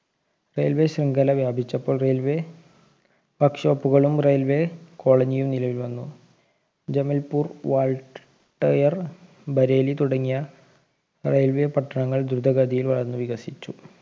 railway ശൃംഖല വ്യാപിച്ചപ്പോൾ railway workshop കളും railway colony യും നിലവിൽ വന്നു ജമൽപൂർ വാൾട്ട് ടയർ ബരേലി തുടങ്ങിയ railway പട്ടണങ്ങൾ ധ്രുതഗതിയിൽ വളർന്നു വികസിച്ചു